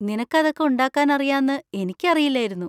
നിനക്ക് അതൊക്കെ ഉണ്ടാക്കാൻ അറിയാന്ന് എനിക്ക് അറിയില്ലായിരുന്നു.